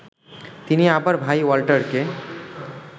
তিনি আবার ভাই ওয়াল্টারকে